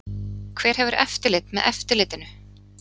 Hver hefur eftirlit með eftirlitinu?